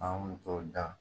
An tun bɛ t'o dan